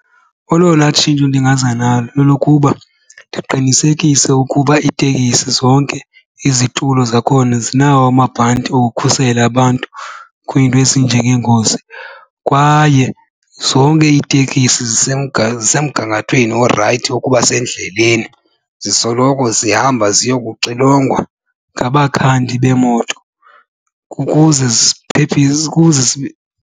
Olona tshintsho ndingaza nalo lolokuba ndiqinisekise ukuba iitekisi zonke izitulo zakhona zinawo amabhanti okukhusela abantu kwiinto ezinjengeengozi. Kwaye zonke itekisi zisemgangathweni orayithi wokuba sendleleni, zisoloko zihamba ziyokuxilongwa ngabakhandi beemoto ukuze ziphephise ukuze .